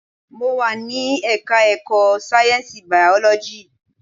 Mo wà ní ẹka ẹ̀kọ́ sáyẹnsì biology.